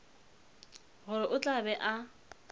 gore o tla be a